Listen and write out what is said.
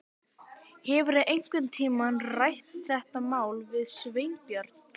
Hefurðu einhvern tíma rætt þetta mál við Sveinbjörn?